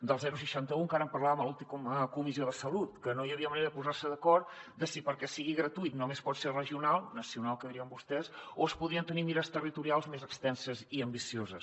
del seixanta un encara en parlàvem a l’última comissió de salut que no hi havia manera de posar se d’acord de si perquè sigui gratuït només pot ser regional nacional que dirien vostès o es podrien tenir mires territorials més extenses i ambicioses